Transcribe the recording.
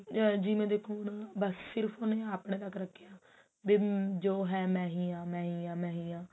ਜਿਵੇਂ ਦੇਖੋ ਹੁਣ ਉਹਨੇ ਸਿਰਫ ਆਪਣੇ ਤੱਕ ਰੱਖਿਆ ਵੀ ਜੋ ਹੈ ਮੈਂ ਹੀ ਹਾਂ ਮੈਂ ਹੀ ਹਾਂ ਮੈਂ ਹੀ ਹਾਂ